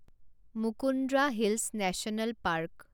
Mukundra hills national park